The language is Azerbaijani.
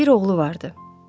Bir oğlu vardı.